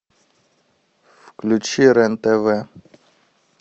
включи рен тв